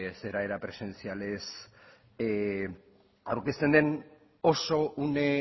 zera era presentsialez aurkezten den oso une